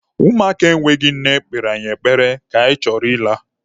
Ụmụaka enweghị nne kpere anyị ekpere ka anyị chọrọ ịla.